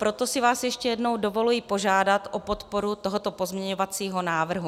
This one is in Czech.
Proto si vás ještě jednou dovoluji požádat o podporu tohoto pozměňovacího návrhu.